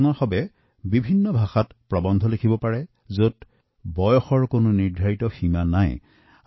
আপোনালোকে বিভিন্ন ভাষাত প্ৰৱন্ধ লিখিব পাৰে আৰু এই প্ৰতিযোগিতাত বয়সৰ কোনো নিৰ্দিষ্ট সীমা থাকিব নালাগে